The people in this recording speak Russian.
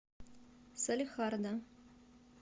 салехарда